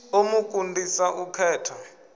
ḓo mu kundisa u khetha